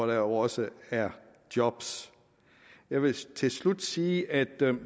der jo også er job jeg vil til slut sige at